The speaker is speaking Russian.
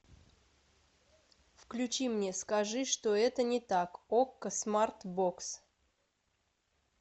включи мне скажи что это не так окко смарт бокс